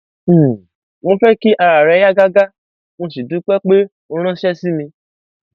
um mo fẹ kí ara rẹ yá gágá mo sì dúpẹ pé o ránṣẹ sí mi